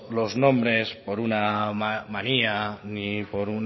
los nombres por una manía ni por